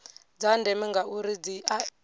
dza ndeme ngauri dzi ea